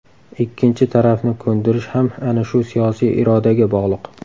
Ikkinchi tarafni ko‘ndirish ham ana shu siyosiy irodaga bog‘liq.